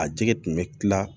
A jɛgɛ tun bɛ kila